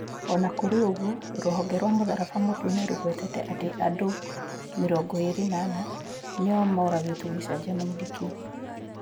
O na kũrĩ ũguo, rũhonge rwa mũtharaba mũtune rũgwetete atĩ andũ 24 nĩo mooragĩtũo gĩcanjama-inĩ kĩu.